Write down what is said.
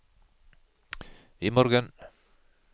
imorgen